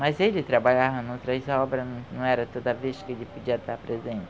Mas ele trabalhava em outras obra, não não era toda vez que ele podia estar presente.